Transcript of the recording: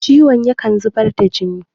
ciwon yakan zubar da jini